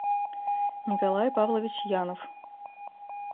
николай павлович янов